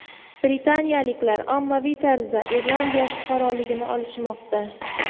Britaniyaliklar ommaviy tarzda Irlandiya fuqaroligini olishmoqda.